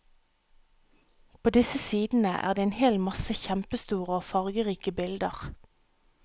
På disse sidene er det en hel masse kjempestore og fargerike bilder.